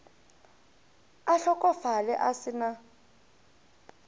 a hlokofale a se na